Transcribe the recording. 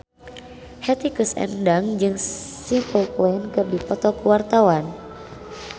Hetty Koes Endang jeung Simple Plan keur dipoto ku wartawan